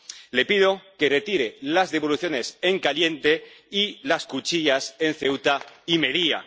Le pido que retire las devoluciones en caliente y las cuchillas en Ceuta y Melilla.